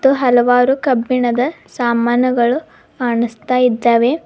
ಮತ್ತು ಹಲವಾರು ಕಬ್ಬಿಣದ ಸಾಮಾನುಗಳು ಕಣುಸ್ತಾಯಿದ್ದಾವೆ.